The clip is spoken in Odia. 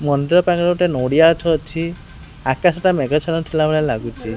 ମନ୍ଦିର ପାନରେ ଗୋଟେ ନଡ଼ିଆ ଗଛ ଅଛି ଆକଶ ଟା ମେଘା ଛନ୍ନଛ ଥିଲା ଭଳିଆ ଲାଗୁଚି।